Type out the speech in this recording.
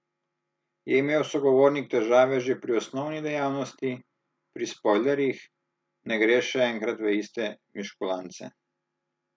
Je imel sogovornik težave že pri osnovni dejavnosti, pri spojlerjih, ne gre še enkrat v iste miškulance.